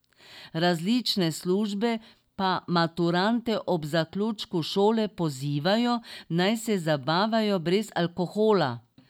Različne službe pa maturante ob zaključku šole pozivajo, naj se zabavajo brez alkohola.